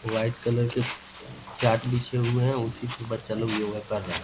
White colour के चट बिछे हुए हैं उसी पे बच्चा लोग योगा कर रहा है।